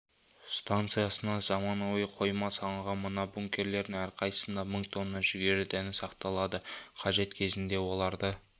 станциясынан заманауи қойма салынған мына бункерлердің әрқайсысында мың тонна жүгері дәні сақталады қажет кезінде оларды